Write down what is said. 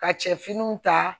Ka cɛ finiw ta